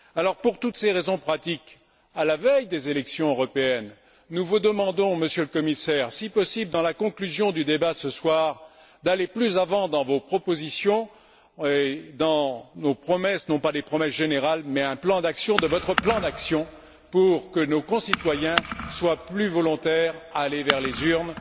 Alors, pour toutes ces raisons pratiques, à la veille des élections européennes, nous vous demandons, Monsieur le Commissaire, si possible dans la conclusion du débat de ce soir, d'aller plus avant dans vos propositions et dans vos promesses, non pas des promesses générales, mais un plan d'action, votre plan d'action pour que nos concitoyens soient plus enclins à se rendre aux urnes